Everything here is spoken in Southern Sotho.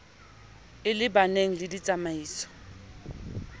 e le baneng le ditsamaiso